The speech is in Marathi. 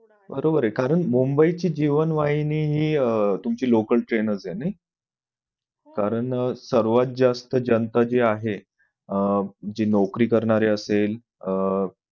बरोबर ये कारण मुंबईची जीवनवाहिनी हि अह तुमची local train नाच आहे नाही कारण सर्वात जास्त जनता जी आहे अह जी नौकरी करणारे असेल अह